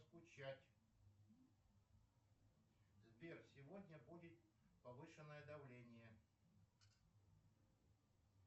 скучать сбер сегодня будет повышенное давление